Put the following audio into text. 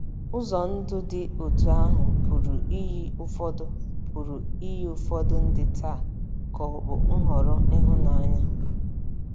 Ụzọ ndụ dị otú ahụ pụrụ iyi ụfọdụ pụrụ iyi ụfọdụ ndị taa ka ọ̀ bụ nhọrọ ịhụnanya.